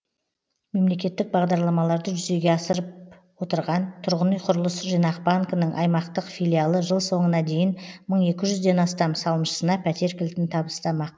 мемлекеттік бағдарламаларды жүзеге асырып отырған тұрғын үй құрылыс жинақ банкінің аймақтық филиалы жыл соңына дейін мың екі жүзден астам салымшысына пәтер кілтін табыстамақ